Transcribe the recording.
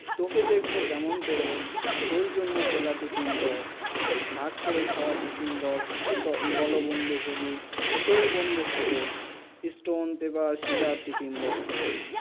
তোকে দেখবো কেমন করে তোর জন্যে খোলা টিফিন বাক্স ভাগ করে খৰা টিফিন বাক্স বোলো বন্ধু হবি ফিরে বন্ধু হবো স্টোন পেপার সেজোর টিফিন বক্সে